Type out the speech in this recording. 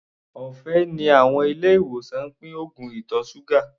Ọ̀fẹ́ ni àwọn ilé-ìwòsàn ń pín oògùn ìtọ̀ ṣúgà.